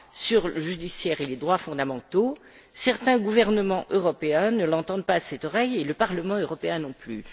sur le judiciaire et les droits fondamentaux, certains gouvernements européens ne l'entendent pas de cette oreille, et le Parlement européen non plus.